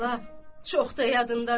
Bala, çox da yadındadır.